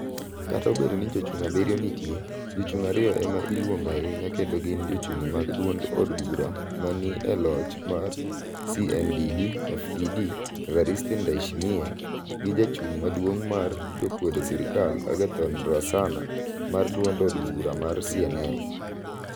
Kata obedo ni jochung' 7 nitie, jochung' ariyo ema iluongo ahinya kendo gin jochung' mag duond od bura ma ni e loch mar CNDD FDD Evariste Ndayshimiye gi jachung' maduong mar jomakwedo serkal Agathon Rwasana mar duond od bura mar CNL.